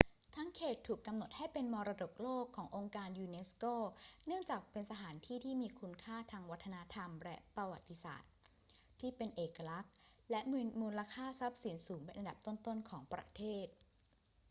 ทั้งเขตถูกกำหนดให้เป็นมรดกโลกขององค์การยูเนสโก เนื่องจากเป็นสถานที่ที่มีคุณค่าทางวัฒนธรรมและประวัติศาสตร์ที่เป็นเอกลักษณ์ และมีมูลค่าทรัพย์สินสูงเป็นอันดับต้น ๆ ของประเทศ